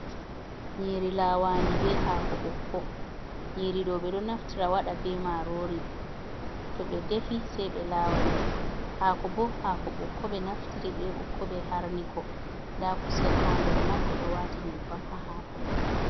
Nyiri lawandi be hako ɓokko, nyiri ɗo ɓe ɗo naftira waɗa be marori, to ɓe defi sei ɓe lawa ndi, hako bo hako ɓokko ɓe naftiri be ɓokko ɓe harniko, nda kusel ha nder man ɓe ɗo wati nyebbam ha hako man.